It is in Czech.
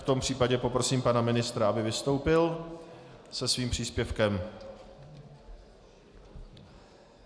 V tom případě poprosím pana ministra, aby vystoupil se svým příspěvkem.